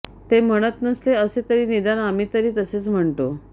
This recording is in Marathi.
ते म्हणत नसले असे तरी निदान आम्ही तरी तसेच म्हणतो